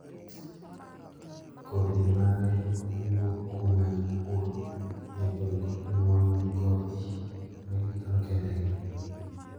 kodhi mare wuo kuma jopur jagol kod nuoyo kodhi magikano kendgi.